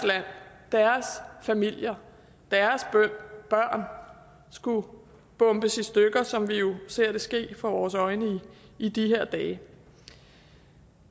familier deres børn skulle bombes i stykker som vi jo ser det ske for vores øjne i de her dage